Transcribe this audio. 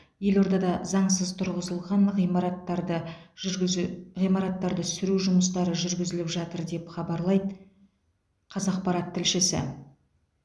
елордада заңсыз тұрғызылған ғимараттарды жүргізу ғимараттарды сүру жұмыстары жүргізіліп жатыр деп хабарлайды қазақпарат тілшісі